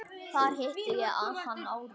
Þar hitti ég hann árið